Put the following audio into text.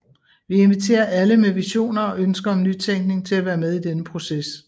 Vi inviterer alle med visioner og ønsker om nytænkning til at være med i denne proces